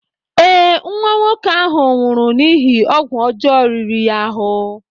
Ee, nwa nwoke ahụ nwụrụ n'ihi ọgwụ ọjọọ riri ya ahụ.